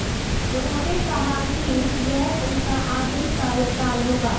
उन्होंने कहा है कि यह उनका आखिरी कार्यकाल होगा